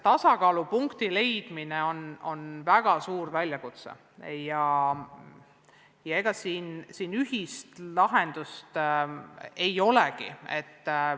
Tasakaalupunkti leidmine on väga suur väljakutse ja siin ühist lahendust ei olegi.